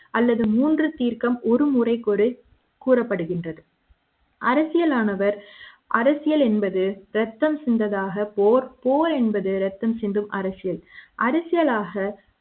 அரசியலாக அல்லது மூன்று தீர்க்கும் ஒருமுறை கூறு கூறப்படுகின்றது அரசியல் ஆனவர் அரசியல் என்பது ரத்தம் சிந்ததாக போர் போர் என்பது ரத்தம் சிந்தும் அரசியல்